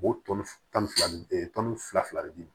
U b'o tɔni tan ni fila ni tɔni fila fila di